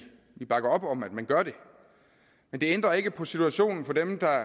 bakker op om at man gør det men det ændrer ikke på situationen for dem der